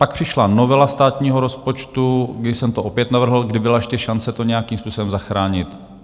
Pak přišla novela státního rozpočtu, kdy jsem to opět navrhl, kdy byla ještě šance to nějakým způsobem zachránit.